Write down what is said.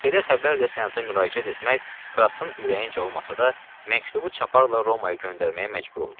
Belə xəbər ilə senata müraciət etmək Krassın ürəyincə olmasa da, məktubu çaparla Romaya göndərməyə məcbur oldu.